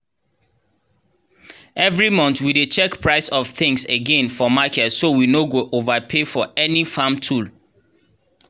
every month we dey check price of things again for market so we no go overpay for any farm tool.